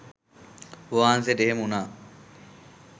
ඔබ වහන්සේට එහෙම වුණා